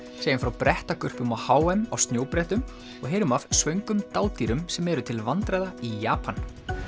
segjum frá á h m á snjóbrettum og heyrum af dádýrum sem eru til vandræða í Japan